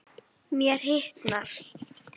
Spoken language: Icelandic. Mér hitnar.